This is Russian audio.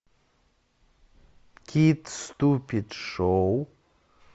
кит ступид шоу